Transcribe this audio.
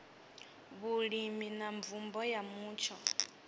vhulimi na mvumbo ya mutsho